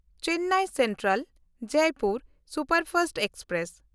Chennai ᱥᱮᱱᱴᱨᱟᱞ–ᱡᱚᱭᱯᱩᱨ superfast express